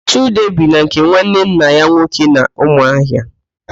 Chude bi na nke nwanne nna ya nwoke n'Ụmụahịa